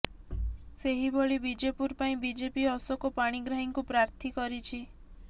ସେହିଭଳି ବିଜେପୁର ପାଇଁ ବିଜେପି ଅଶୋକ ପାଣିଗ୍ରାହୀଙ୍କୁ ପ୍ରର୍ଥୀ କରିଛି